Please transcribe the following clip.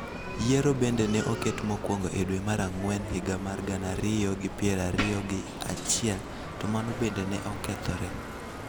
Yiero bende ne oket mokuongo e dwe mar Ang'wen higa mar gana ariyo gi piero ariyo gi achiel to mano bende ne okethore.